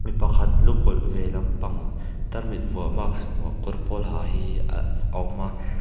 mipakhat lu kawlh ve lampang tarmit vuah mask vuah kawr pawl ha hi a awm a.